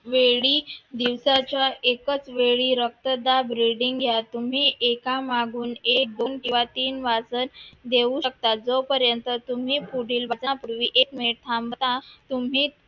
वेळी, दिवसाच्या एकाच वेळी रक्तदाब reading घ्या, तुम्ही एका मागून एक दोन किंवा तीन जोपर्यंत तुम्ही पुढील बटनापूर्वी एक मिनिट थांबता